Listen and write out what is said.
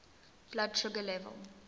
blood sugar level